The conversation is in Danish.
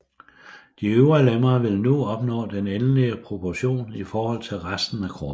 De øvre lemmer vil nu opnå den endelige proportion i forhold til resten af kroppen